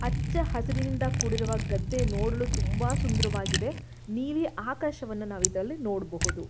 ಹಚ್ಚ ಹಸಿರಿನಿಂದ ಕೂಡಿರುವ ಗದ್ದೆ ನೋಡಲು ತುಂಬಾ ಸುಂದರವಾಗಿದೆ ನೀಲಿ ಆಕಾಶವನ್ನು ನಾವು ಇದರಲ್ಲಿ ನೋಡಬಹುದು.